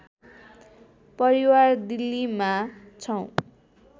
परिवार दिल्लीमा छौँ